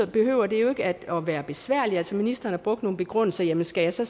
behøver det jo ikke at være besværligt altså ministeren har brugt nogle begrundelser jamen skal jeg så